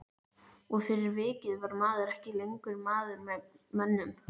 Og fyrir vikið var maður ekki lengur maður með mönnum.